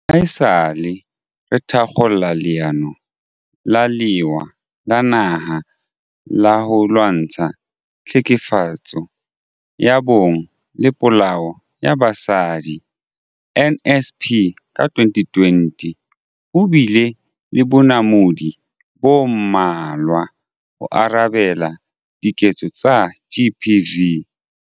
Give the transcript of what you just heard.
Haesale re thakgola Leano la Lewa la Naha la ho Lwantsha Tlhekefetso ya Bong le Polao ya Basadi, NSP, ka 2020, ho bile le bonamodi bo mmalwa ho arabela diketso tsa GBV.